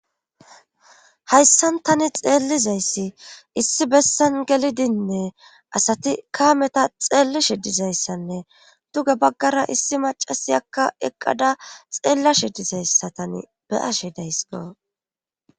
hayssan tani xeellizayssi issi bessan gelidinnee asati kaameta xeellishi dizayssanne duge baggara issi macasi akka eqqada xeellashe dizayssatan be ashe daysiqo